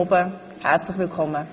Herzlich willkommen!